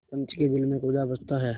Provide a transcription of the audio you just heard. पंच के दिल में खुदा बसता है